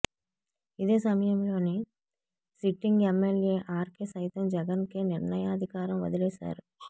ఇదే సమయంలో sitting MLA RK సైతం జగన్ కే నిర్ణయా ధికారం వదిలేసారు